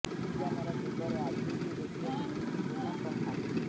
ବିଜ୍ଞାନର ଯୁଗରେ ଆଜି ବି ଦେଖିବାକୁ ମିଳିଛି ପୁରୁଣା ପ୍ରଥା